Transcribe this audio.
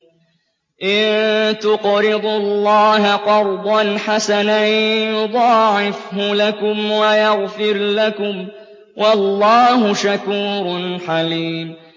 إِن تُقْرِضُوا اللَّهَ قَرْضًا حَسَنًا يُضَاعِفْهُ لَكُمْ وَيَغْفِرْ لَكُمْ ۚ وَاللَّهُ شَكُورٌ حَلِيمٌ